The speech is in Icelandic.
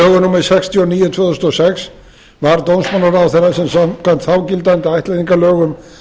númer sextíu og níu tvö þúsund og sex var dómsmálaráðherra sem samkvæmt þágildandi ættleiðingarlögum